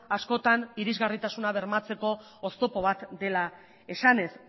askotan irisgarritasuna bermatzeko oztopo bat dela esanez